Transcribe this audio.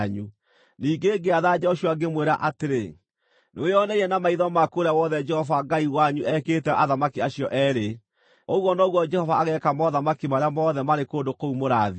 Ningĩ ngĩatha Joshua ngĩmwĩra atĩrĩ: “Nĩwĩoneire na maitho maku ũrĩa wothe Jehova Ngai wanyu ekĩte athamaki acio eerĩ. Ũguo noguo Jehova ageeka mothamaki marĩa mothe marĩ kũndũ kũu mũrathiĩ.